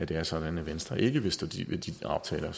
det er sådan at venstre ikke vil stå ved de aftaler